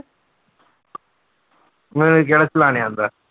ਮੈਨੂੰ ਕਿਹੜਾ ਚਲਾਉਣੇ ਆਉਂਦਾ।